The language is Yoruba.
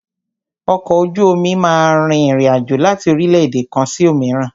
Ọkọ̀ ojú omi máà rìn ìrin àjò láti orílẹ̀-èdè kan sí òmíràn.